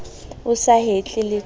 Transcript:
o sa hetle le ka